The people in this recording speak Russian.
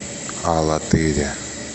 алатыре